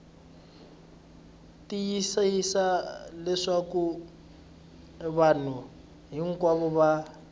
tiyisisa leswaku vanhu hinkwavo va